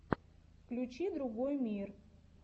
включи другой мир